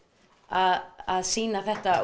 að sýna þetta